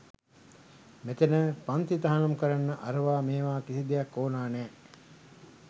මෙතැන පන්ති තහනම් කරන්න අරවා මේවා කිසි දෙයක් ඕන නෑ.